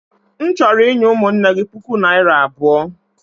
M chọrọ inye ụmụnne gị puku naira abụo.